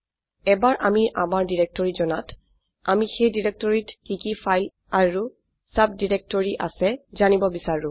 এবাৰ আমি আমাৰ ডিৰেক্টৰী জনাত আমি সেই ডিৰেক্টৰীটিত কি কি ফাইল আৰু সাবডিৰেক্টৰি আছে জানিব বিচাৰো